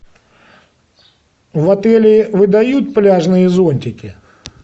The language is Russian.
в отеле выдают пляжные зонтики